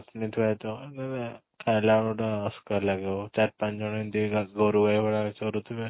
ଚଟନୀ ଥୁଆ ହେଇଥିବ ଖାଇଲା ବେଳେ ଗୋଟେ ଅସ୍କା ଲାଗିବ ଚାରି ପାଞ୍ଚ ଜଣ ଏମିତି ଗୋରୁ ଗାଈ ଭଳିଆ ଚରୁଥିବେ